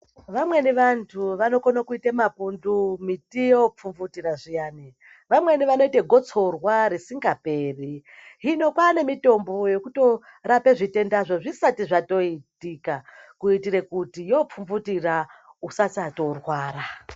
Vamweni vantu vanokono kuite mapundu miti yopfumvutira zviyani, vamweni vanoite gotsorwa risingaperi. Hino kwaa nemitombo yekutorape zvitendazvo zvisati zvatoitika, kuitire kuti yopfumvutira usasatorwara.